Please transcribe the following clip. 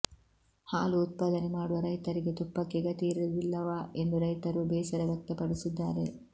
ಹಾಲು ಉತ್ಪಾದನೆ ಮಾಡುವ ರೈತರಿಗೆ ತುಪ್ಪಕ್ಕೆ ಗತಿ ಇರುವುದಿಲ್ಲವಾ ಎಂದು ರೈತರು ಬೇಸರ ವ್ಯಕ್ತಪಡಿಸಿದ್ದಾರೆ